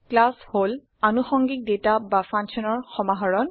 class হল আনুষঙ্গিক data বা functionsৰ সমাহৰণ